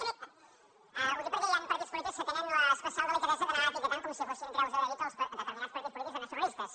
ho dic perquè hi han partits polítics que tenen l’especial delicadesa d’anar etiquetant com si fossin creus de david determinats partits polítics de nacionalistes